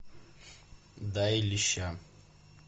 дай леща